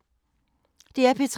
DR P3